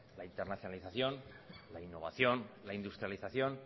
la internacionalización la innovación la industrialización